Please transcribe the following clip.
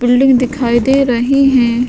Building दिखाई दे रही है।